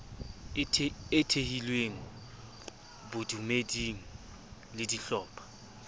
e thehilweng bodumeding le dihlopha